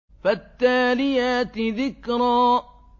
فَالتَّالِيَاتِ ذِكْرًا